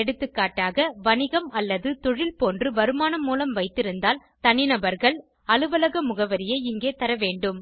எகா வணிகம் அல்லது தொழில் போன்று வருவாய் மூலம் வைத்திருந்தால் தனிநபர்கள் அலுவலக முகவரியை இங்கே தரவேண்டும்